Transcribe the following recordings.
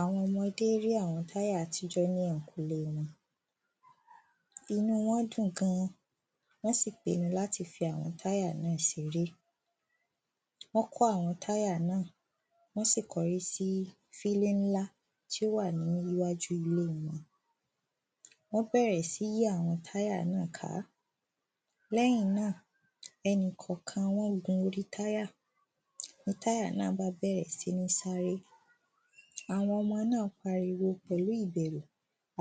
Àwọn ọmọdé rí àwọn táyà àtijọ́ ní ẹ̀ǹkùle wọn. Inú wọ́n dùn gan-an. Wọ́n sì pinu láti fi àwọn táyà náà seré. Wọ́n kó àwọn táyà náà, wọ́nsì kọrí sí sílé ńlá tí ó wà ní iwájú ilé wọn. Wọ́n bẹ̀rẹ̀ sí yí àwọn táyà náà ká. Lẹ́yìn náà ẹnìkọ̀kan wọ́n gun orí táyà. Ni táyà náà bá bẹ̀rẹ̀ sí ní sáré. Àwọn ọmọ náà pariwo pẹ̀lú ìbẹ̀rù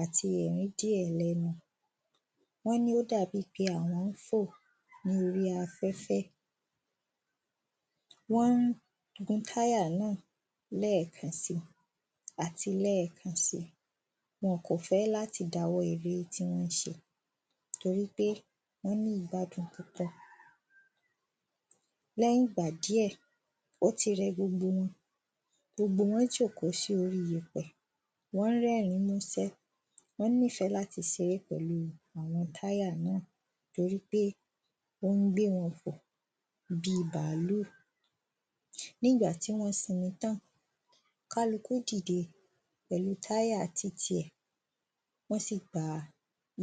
àti ẹ̀rín díẹ̀ lẹ́nu. Wọ́n ní ó dà bí pé àwọ́n ń fò ní orí afẹ́fẹ́. Wọ́n ń gun táyà náà lẹ́ẹ̀kan si àti lẹ́ẹ̀kan si. Wọn kò fẹ́ láti dawọ́ eré tí wọ́n ń se. Torípé wọ́n ní ìgbàdùn Lẹ́yìn ìgbà díẹ̀, ó ti rẹ gbogbo wọn. Gbogbo wọ́n jòkó sí orí yepẹ̀, wọ́n ń rẹ́rín músẹ́. Wọ́n nífẹ́ láti seré pẹ̀lu táyà náà. Torípé ó ń gbé wọn fò bi bàálù. Ní ìgbà tí wọ́n sinmi tán, kálukú dìde pẹ̀lu táyà titi ẹ̀. Wọ́n sì gba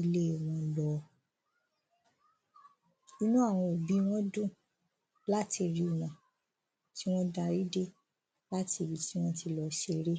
ilé wọn lọ. Inú àwọn òbí wọ́n dùn láti rí wọn tí wọ́n darí dé láti ibi tí wọ́n ti lọ seré.